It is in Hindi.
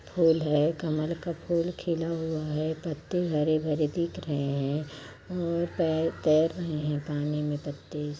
फूल है कमल का फूल खिला हुआ है पत्ते हरे-भरे दिख रहें है और पैर तैर रहे है पानी में पत्ते--